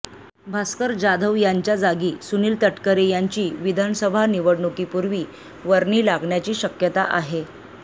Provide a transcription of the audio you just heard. भास्कर जाधव यांच्या जागी सुनील तटकरे यांची विधानसभा निवडणुकीपुर्वी वर्णी लागण्याची शक्यता आहे